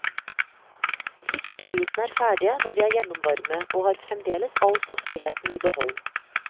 Fiskebitene er ferdige når de er gjennomvarme, og har fremdeles all saftigheten i behold.